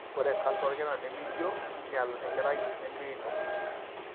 ore canser olkinaa nemeijio kinyial enkerai nemeino.